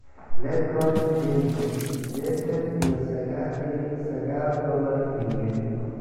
LeBron James sidetan iyo sagal dibic sagal dolar milyan